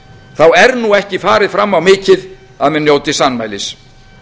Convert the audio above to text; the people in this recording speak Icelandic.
þá er nú ekki farið fram á mikið að menn njóti sannmælis